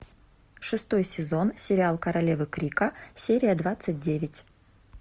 шестой сезон сериал королевы крика серия двадцать девять